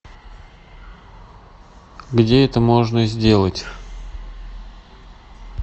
где это можно сделать